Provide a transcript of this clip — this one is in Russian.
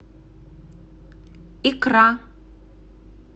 икра